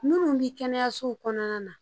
Minnu bɛ kɛnɛyasow kɔnɔna na